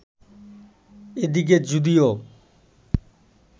এদিকে যদিও